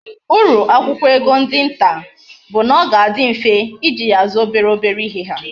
Uru akwukwo ego ndi nta bu na oga adi mfe iji ya azu obere obere ihe ha